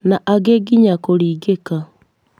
Na angĩ nginya kũringĩka.